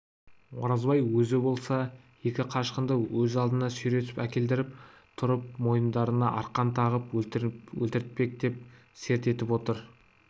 оразбай өзі болса екі қашқынды өз алдына сүйретіп әкелдіріп тұрып мойындарына арқан тағып өлтіртпек деп серт етіп отыр